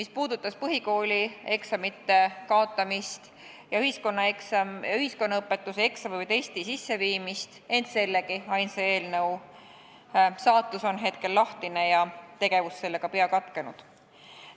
See puudutab põhikooli eksamite kaotamist ja ühiskonnaõpetuse eksami või testi kasutusele võtmist, ent sellegi ainsa eelnõu saatus on hetkel lahtine ja sellega tegelemine pea katkenud.